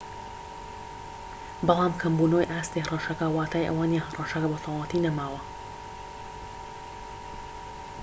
بەڵام کەمبونەوەی ئاستی هەڕەشەکە واتای ئەوەنیە هەڕەشەکە بەتەواوەتی نەماوە